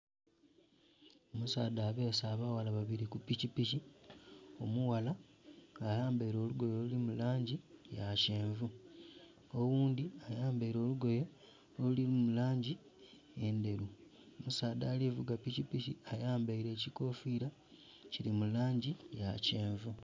Omusaadha abeese abaghala babiri ku pikipiki, omughala nga ayambaile olugoye oluli mu langi ya kyenvu, oghundhi ayambaile olugoye oluli mu langi endheru. Omusaadha ali vuga pikipiki ayambaile ekikofiira. Kili mu langi ya kyenvu